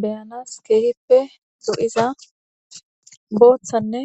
beyanas keehippe do7iza booththanne